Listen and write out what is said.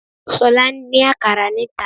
Sọ́la n dín àkàrà níta